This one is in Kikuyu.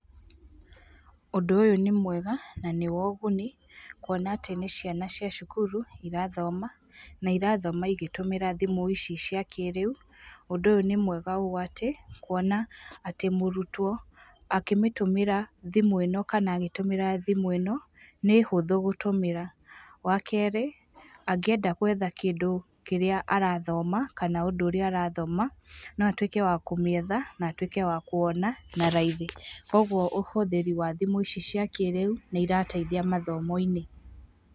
Ũndũ ũyũ nĩ mwega, na nĩ wa ũguni. Kuona atĩ nĩ ciana cia cukuru, irathoma, na irathoma igĩtũmĩra thimũ ici cia kĩrĩu. Ũndũ ũyũ nĩ mwega ũũ atĩ, kuona atĩ mũrutwo, akĩmĩtũmĩra thimũ ĩno kana agĩtũmĩra thimũ ĩno, nĩ hũthũ gũtũmĩra. Wa kerĩ, angĩenda gwetha kĩndũ kĩrĩa arathoma, kana ũndũ ũrĩa arathoma, no atuĩke wa kũmĩetha, na atuĩke wa kuona, na raithi. Koguo ũhũthĩri wa thimũ ici cia kĩrĩu, nĩ irateithia mathomo-inĩ.